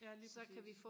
ja lige præcis